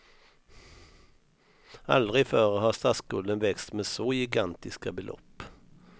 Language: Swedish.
Aldrig förr har statsskulden växt med så gigantiska belopp.